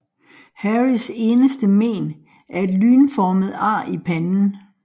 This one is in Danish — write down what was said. Harrys eneste mén er et lynformet ar i panden